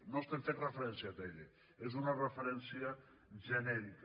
no estem fent referència a atll és una referència genèrica